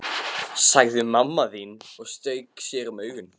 sagði mamma þín og strauk sér um augun.